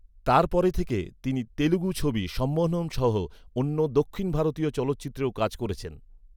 তার পরে থেকে তিনি তেলুগু ছবি ‘সম্মোহনম’ সহ অন্য দক্ষিণ ভারতীয় চলচ্চিত্রেও কাজ করেছেন।